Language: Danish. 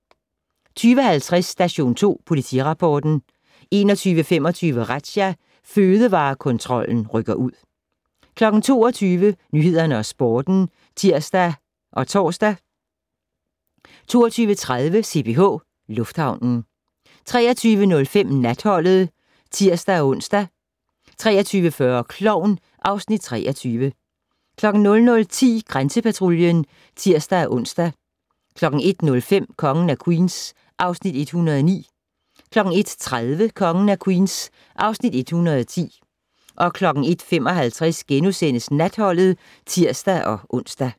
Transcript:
20:50: Station 2 Politirapporten 21:25: Razzia - Fødevarekontrollen rykker ud 22:00: Nyhederne og Sporten (tir-tor) 22:30: CPH Lufthavnen 23:05: Natholdet (tir-ons) 23:40: Klovn (Afs. 23) 00:10: Grænsepatruljen (tir-ons) 01:05: Kongen af Queens (Afs. 109) 01:30: Kongen af Queens (Afs. 110) 01:55: Natholdet *(tir-ons)